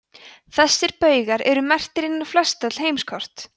þessir baugar eru merktir inn á flestöll heimskort